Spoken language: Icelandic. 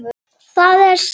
Það er satt!